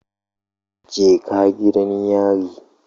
Jeka gidan yari.